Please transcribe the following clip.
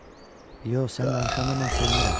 Yox, sən danışanda mən sevinirəm.